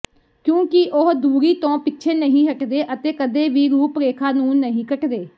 ਕਿਉਂਕਿ ਉਹ ਦੂਰੀ ਤੋਂ ਪਿੱਛੇ ਨਹੀਂ ਹਟਦੇ ਅਤੇ ਕਦੇ ਵੀ ਰੁਖ ਰੇਖਾ ਨੂੰ ਨਹੀਂ ਕੱਟਦੇ